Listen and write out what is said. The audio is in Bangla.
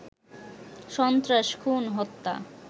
সন্ত্রাস, খুন, হত্যা